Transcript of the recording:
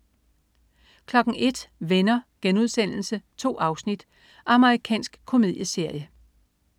01.00 Venner.* 2 afsnit. Amerikansk komedieserie